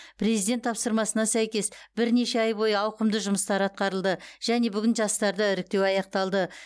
президент тапсырмасына сәйкес бірнеше ай бойы ауқымды жұмыстар атқарылды және бүгін жастарды іріктеу аяқталды